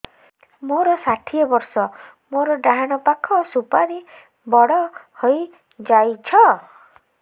ମୋର ଷାଠିଏ ବର୍ଷ ମୋର ଡାହାଣ ପାଖ ସୁପାରୀ ବଡ ହୈ ଯାଇଛ